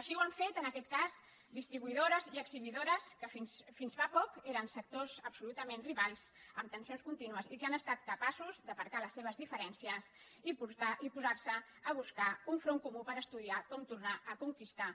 així ho han fet en aquest cas distribuïdores i exhibidores que fins fa poc eren sectors absolutament rivals amb tensions contínues i que han estat capaços d’aparcar les seves diferències i posar se a buscar un front comú per estudiar com tornar a conquistar